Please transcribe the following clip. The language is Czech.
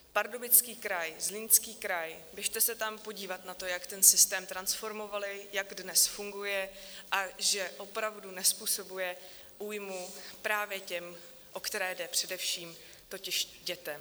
Pardubický kraj, Zlínský kraj, běžte se tam podívat na to, jak ten systém transformovali, jak dnes funguje a že opravdu nezpůsobuje újmu právě těm, o které jde, především totiž dětem.